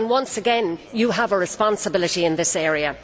Once again, you have a responsibility in this area.